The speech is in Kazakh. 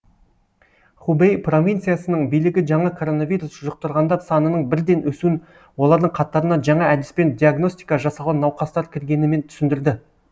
хубэй провинциясының билігі жаңа коронавирус жұқтырғандар санының бірден өсуін олардың қатарына жаңа әдіспен диагностика жасалған науқастар кіргенімен түсіндірді